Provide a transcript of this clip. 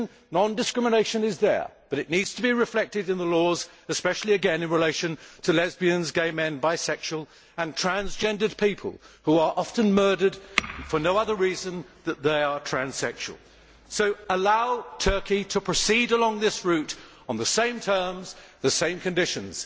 Non discrimination is in the Constitution, but it needs to be reflected in the laws, especially again in relation to lesbians, gay men, bisexual and transgendered people who are often murdered for no other reason than they are transsexual. So, allow Turkey to proceed along this route, on the same terms, the same conditions.